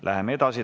Läheme edasi.